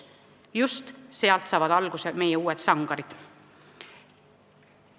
Just sealt saavad alguse meie uued sangarid.